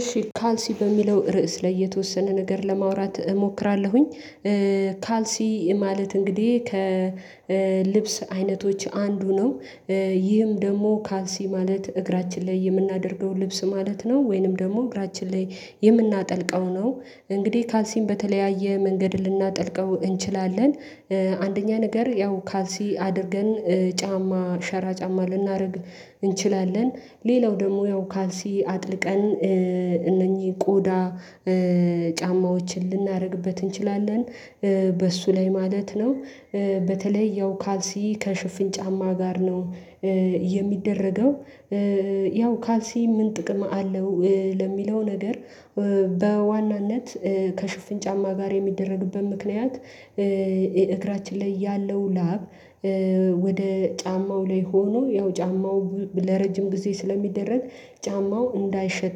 እሺ ካልሲ በሚለው ርዕስ ላይ የተወሰነ ነገር ለማውራት እሞክራለሁኝ። ካልሲ ማለት እንግዲህ ከልብስ አይነቶች አንዱ ነው። ይህም ደግሞ ካልሲ ማለት እግራችን ላይ የምናደርገው ልብስ ማለት ነው ወይንም ደግሞ እግራችን ላይ የምናጠልቀው ነው እንግዲህ ካልሲም በተለያየ መንገድ ልናጠልቀው እንችላለን። አንደኛ ነገር ያው ካልሲ አድርገን ጫማ ሸራ ጫማ ልናደርግ እንችላለን ሌላው ደግሞ ያው ካልሲ አጥልቀን እነኚህ ቆዳ ጫማዎችን ልናደርግበት እንችላለን በእሱ ላይ ማለት ነው። በተለይ ያው ካልሲ ከሽፍን ጫማ ጋር ነው የሚደረገው ያው ካልሲ ምን ጥቅም አለው ለሚለው ነገር? በዋናነት ከሽፍን ጫማ ጋር የሚደረግበት ምክንያት እግራችን ላይ ያለው ላብ ወደ ጫማው ላይ ሆኖ ያው ጫማው ለረጅም ጊዜ ስለሚደረግ ጫማው እንዳይሸት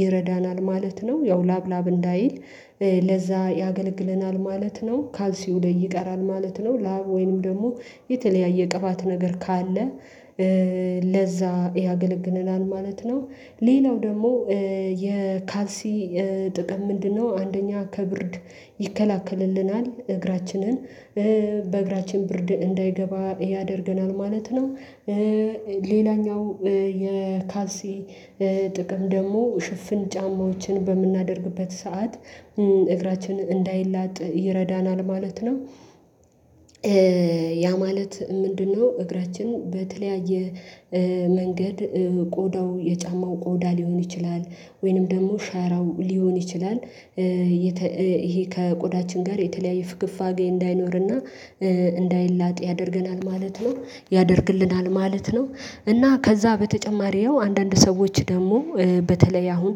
ይረዳናል ማለት ነው። ያው ላብ ላብ እንዳይል ለዛ ያገለግለናል ማለት ነው። ካልሲው ላይ ይቀራል ማለት ነው። ላብ ወይንም ደግሞ የተለያየ ቅባት ነገር ካለ ለዛ ያገለግልናል ማለት ነው። ሌላው ደግሞ የካልሲ ጥቅም ምንድነው? አንደኛ ከብርድ ይከላከልልናል እግራችንን በእግራችን ብርድ እንዳይገባ ያደርገናል ማለት ነው። ሌላኛው የካሲ ጥቅም ደግሞ ሽፍን ጫማዎችን በምናደርግበት ሰዓት እግራችን እንዳይላጥ ይረዳናል ማለት ነው። ያ ማለት ምንድነው? እግራችን በተለያየ መንገድ ቆዳው የጫማው ቆዳ ሊሆን ይችላል ወይንም ደግሞ ሸራው ሊሆን ይችላል። ይሄ ከቆዳችን ጋር የተለያየ ፍግፋጌ እንዳይኖርና እንዳይላጥ ያደርገናል ማለት ነው ያደርግልናል ማለት ነው። እና ከዛ በተጨማሪው አንዳንድ ሰዎች ደግሞ በተለይ አሁን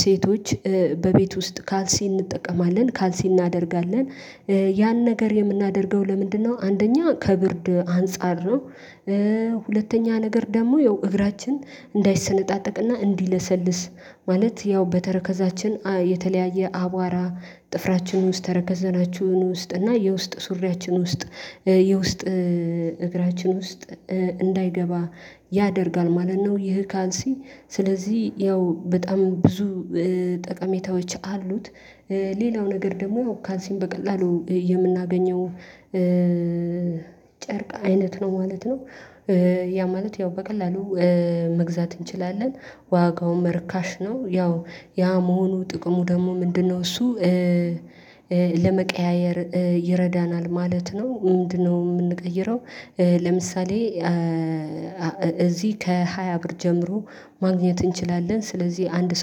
ሴቶች በቤት ውስጥ ካልሲ እንጠቀማለን ካልሲ እናደርጋለን ያን ነገር የምናደርገው ለምንድነው? አንደኛ ከብርድ አንፃር ነው። ሁለተኛ ነገር ደግሞ ያው እግራችን እንዳይሰነጣጠቅና እንዲለሰልስ ማለት ያው በተረከዛችን የተለያየ አቧራ ጥፍራችን ውስጥ ተረከዘናችሁን ውስጥ እና የውስጥ ሱሪያችን ውስጥ የውስጥ እግራችን ውስጥ እንዳይገባ ያደርጋል ማለት ነው። ይህ ካልሲ ስለዚህ ያው በጣም ብዙ ጠቀሜታዎች አሉት። ሌላው ነገር ደግሞ ካንሲን በቀላሉ የምናገኘው ጨርቅ አይነት ነው ማለት ነው። ያ ማለት ያው በቀላሉ መግዛት እንችላለን ዋጋውን እርካሽ ነው ያው ያ መሆኑ ጥቅሙ ደግሞ ምንድነው? እሱ ለመቀያየር ይረዳናል ማለት ነው። ምንድነው? የምንቀይረው ለምሳሌ እዚህ ከሃያ ብር ጀምሮ ማግኘት እንችላለን። ስለዚህ አንድ ሰው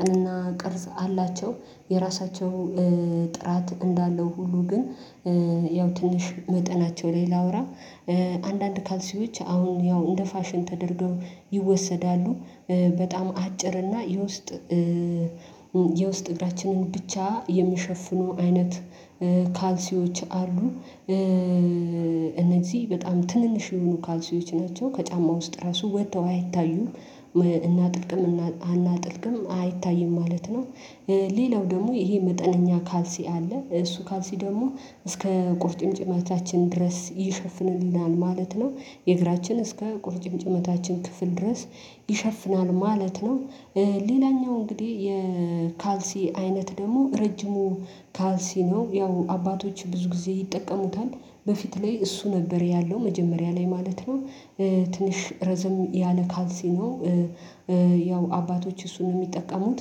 አዎ ቅርጽ አላቸው የራሳቸው ጥራት እንዳለው ሁሉ ግን ያው ትንሽ መጠናቸው ላይ ላውራ አንዳንድ ካልሲዎች አሁን ያው እንደ ፋሽን ተደርገው ይወሰዳሉ። በጣም አጭር እና የውስጥ የውስጥ እግራችንን ብቻ የሚሸፍኑ አይነት ካልሲዎች አሉ። እነዚህ በጣም ትንንሽ የሆኑ ካልሲዎች ናቸው ከጫማ ውስጥ ራሱ ወጥተው አይታዩም እናጥልቅም አናጥልቅም አይታይም ማለት ነው። ሌላው ደግሞ ይሄ መጠነኛ ካልሲ አለ እሱ ካልሲ ደግሞ እስከ ቁርጭምጭሚታችን ድረስ ይሸፍንልናል ማለት ነው። የእግራችን እስከ ቁርጭምጭሚታችን ክፍል ድረስ ይሸፍናል ማለት ነው። ሌላኛው እንግዲህ የካልሲ አይነት ደግሞ ረጅሙ ካልሲ ነው ያው አባቶች ብዙ ጊዜ ይጠቀሙታል። በፊት ላይ እሱ ነበር ያለው መጀመሪያ ላይ ማለት ነው። ትንሽ ረዘም ያለ ካልሲ ነው። ያው አባቶች እሱን ነው የሚጠቀሙት።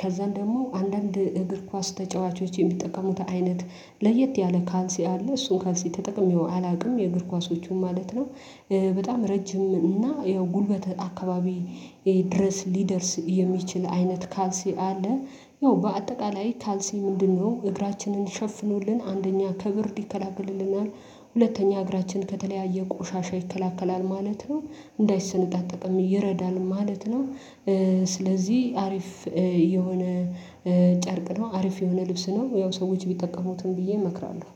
ከዛም ደግሞ አንዳንድ እግር ኳስ ተጫዋቾች የሚጠቀሙት አይነት ለየት ያለ ካንሲ አለ እሱን ካልሲ ተጠቅሜው አላውቅም የእግር ኳሶቹን ማለት ነው። በጣም ረጅም እና ያው ጉልበት አካባቢ ድረስ ሊደርስ የሚችል አይነት ካልሲ አለ። ያው በአጠቃላይ ካልሲ ምንድነው? እግራችንን ሸፍኖልን አንደኛ ከብርድ ይከላከልልናል ሁለተኛ እግራችን ከተለያየ ቆሻሻ ይከላከላል ማለት ነው። እንዳይሰነጣጠቅም ይረዳል ማለት ነው። ስለዚህ አሪፍ የሆነ ጨርቅ ነው አሪፍ የሆነ ልብስ ነው ያው ሰዎች ቢጠቀሙትም ብዬ እመክራለሁ